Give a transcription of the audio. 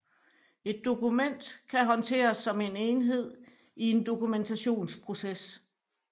Et dokument kan håndteres som en enhed i en dokumentationsproces